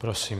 Prosím.